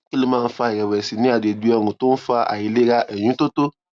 kí ló máa ń fa ìrèwèsì ní àgbègbè ọrùn tó ń fa àìlera ìyúntótó